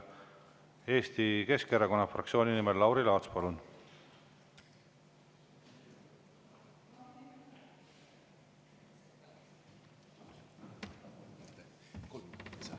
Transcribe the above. Eesti Keskerakonna fraktsiooni nimel Lauri Laats, palun!